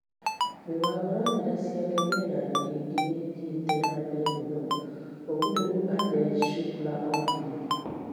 Mĩbango na njĩra ciake mienaininĩ ĩngi nĩ ĩthiĩte na mbere mũno. ũguo nĩguo Ajai Shukla oigire.